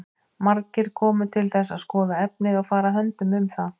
Margir komu til þess að skoða efnið og fara höndum um það.